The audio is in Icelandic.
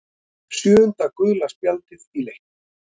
Sjöunda gula spjaldið í leiknum.